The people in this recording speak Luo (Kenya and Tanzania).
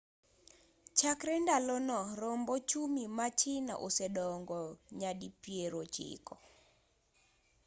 chakre ndalono romb ochumi ma china osedongo nyadipierochiko